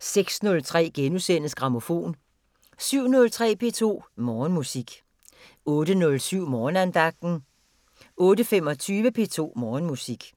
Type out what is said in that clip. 06:03: Grammofon * 07:03: P2 Morgenmusik 08:07: Morgenandagten 08:25: P2 Morgenmusik